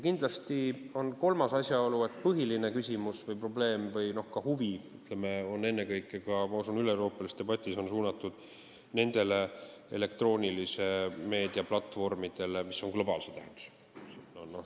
Kindlasti on kolmas asjaolu see, et põhiline küsimus, probleem või ka huvi, ma usun, üleeuroopalises debatis on suunatud nendele elektroonilise meedia platvormidele, mis on globaalse tähendusega.